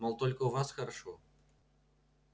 мол только у вас хорошо